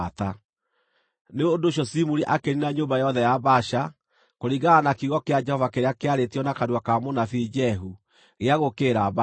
Nĩ ũndũ ũcio Zimuri akĩniina nyũmba yothe ya Baasha, kũringana na kiugo kĩa Jehova kĩrĩa kĩarĩtio na kanua ka mũnabii Jehu gĩa gũũkĩrĩra Baasha.